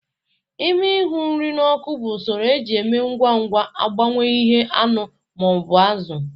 Ịmi ihu nri n'oku bụ usoro eji eme ngwa ngwa agbanwe ihu anụ ma ọ bụ azụ